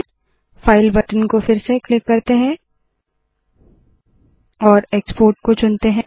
file button को फिर से क्लिक करते है और एक्सपोर्ट को चुनते है